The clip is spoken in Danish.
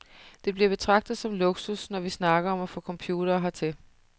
Det bliver betragtet som luksus, når vi snakker om at få computere hertil.